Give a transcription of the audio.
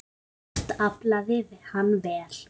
Oft aflaði hann vel.